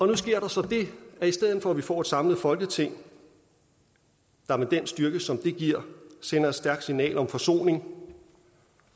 nu sker der så det at i stedet for at vi får et samlet folketing der med den styrke som det giver sender et stærkt signal om forsoning